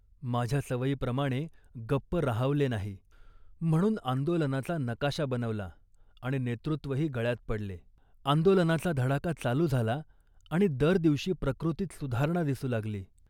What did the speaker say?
माझ्या सवयीप्रमाणे गप्प राहवले नाही म्हणून आंदोलनाचा नकाशा बनवला आणि नेतृत्वही गळ्यात पडले. आंदोलनाचा धडाका चालू झाला आणि दर दिवशी प्रकृतीत सुधारणा दिसू लागली